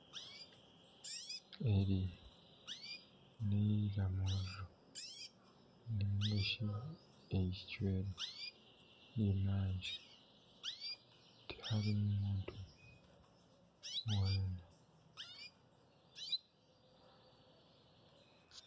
Eri niramuriro nari shi eicwero ry'emanja tiharimu muntu weena